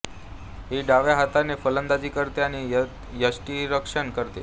ही डाव्या हाताने फलंदाजी करते आणि यष्टीरक्षण करते